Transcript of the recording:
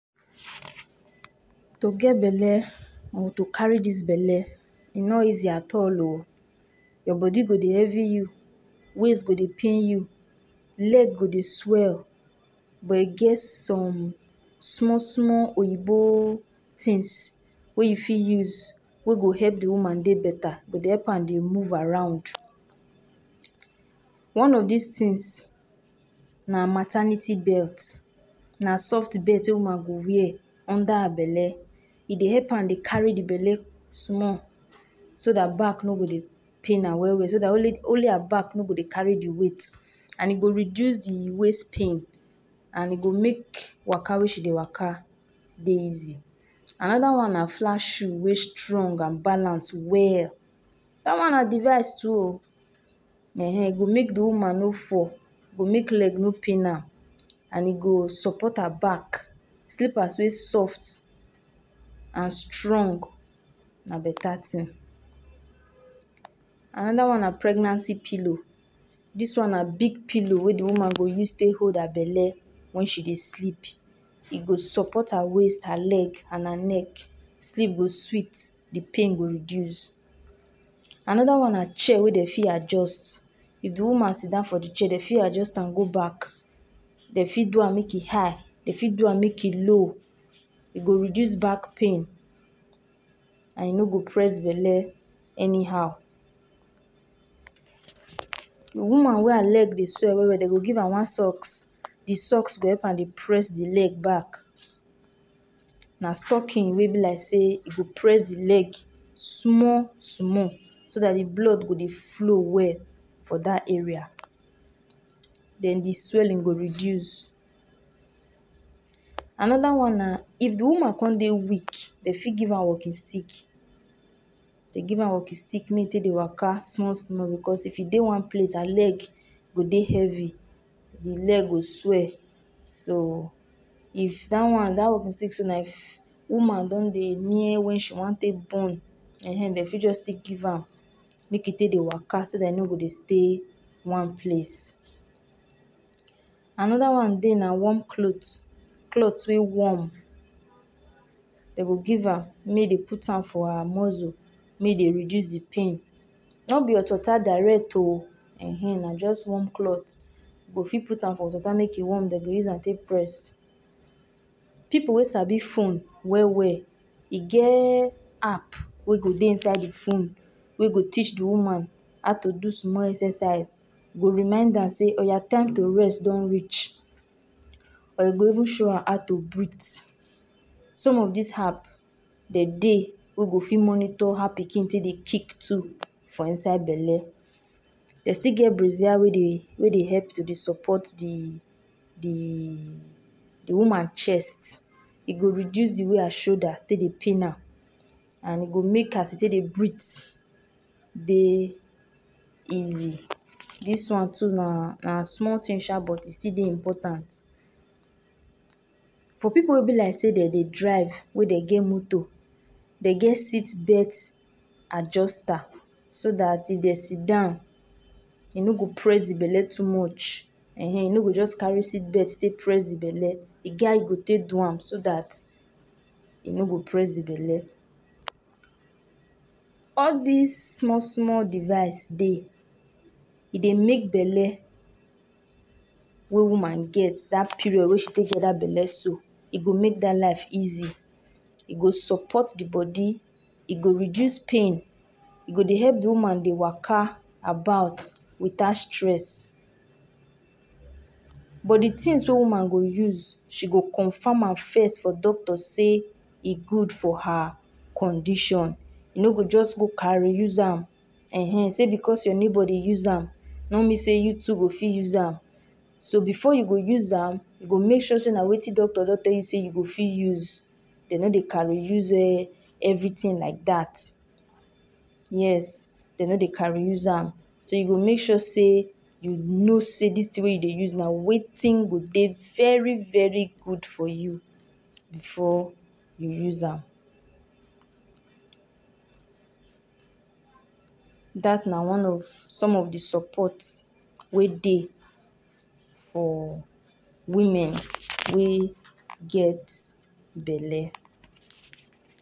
To get belle or to carry dia belle e no easy at all oo Your body go Dey pain you waist go Dey pain you leg go Dey swell but e get some small small oyinbo things wey you fit use wey go help de woman Dey better e go help am Dey move around one of dis things na maternity belt na soft belt wey woman go wear under her belle e Dey help woman Dey carry de belle small so dat back no go Dey pain am well well so dat only her back no go Dey carry de weight and e go reduce de waist pain and e go make waka wey she Dey woka Dey easy Anoda thing na flat shoe wey strong and balance well dat one na device too ooo ehen e go make de woman no fall e go make leg no pain am and e go support her back slippers wey soft and strong na beta thing Anoda one na pregnancy pillow dis one na big pillow wey de woman go use take hold her belle wen she Dey sleep e go support her waist, her leg and her neck sleep go sweet de pain go reduce Anoda one na chair wey dem fit adjust if de woman sit down for de chair dem fit adjust am go back dem fit do am make e high dem fit do am make e low e go reduce back pain and e no go press belle anyhow woman wey her leg Dey swell well well dem go give am one socks de socks go help am Dey press de leg back na stocking wey go be like sey e Dey press de leg small small so dat de blood go Dey flow well for dat area den de swelling go reduce Anoda one na if de woman come Dey weak you fit give am walking stick make dem give am walking stick make e take Dey woka small small because if e Dey one place her leg go Dey heavy de leg go swell so if dat one dat one b sey so na if woman don Dey near wen she wan take born ehen dem fit just give am make e take Dey woka so dat im no go Dey stay one place Anoda one Dey na warm cloth, cloth wey warm dem go give am make e Dey put am for her muscle make e Dey reduce de pain no b hot water direct ooo ehen na just warm cloth you go fit put am hot water make e warm dem Dey use am take press pipu wey sabi phone well well e get app wey go Dey inside de phone wey do reach de woman how to do small excercise e go remind her Dey oya time to rest don reach or e go even show her how to breath some of dis app dem Dey wey go fit monitor how pikin take Dey kick too for inside belle dem still get brazier wey Dey help to Dey support de woman chest e do reduce de way her shoulder Dey pain am and e go make as you take Dey breath Dey easy dis one too na small thing sha but e Dey important for pipu wey b like sey dem Dey drive we Dey get moto dem get sit belt adjuster do dat if dem sitdown Dey no go press de belle too much ehen dem no go just carry sit belt press de belle e get hoe you go take do am so dat e no press de belle. All dis small small device Dey, e Dey make belle wey woman get dat period wey you get dat belle so make her life easy e go support de body e go reduce pain e go Dey help de woman Dey woka about without stress but de things wey woman go use she go confirm am first for doctor sey e good for her condition e no go just go carry use am set because your neighbor Dey use am no mean sey you too go fit use am so before you go use am you go make sure sey na wetin doctor sey you go fit use dem no Dey carry use everything like dat yes dem no Dey carry use am you go make sure sey you know sey dis thing wey you Dey use na wetin go Dey very very good for you before you use am. Dat na some of de support wey Dey for women wey get belle.